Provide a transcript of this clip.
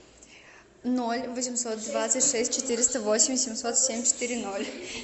ноль восемьсот двадцать шесть четыреста восемь семьсот семь четыре ноль